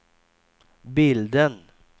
bilden